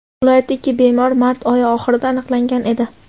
Viloyatda ikki bemor mart oyi oxirida aniqlangan edi.